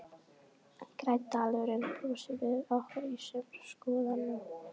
Grænn dalurinn brosir við okkur í sumarskrúðanum.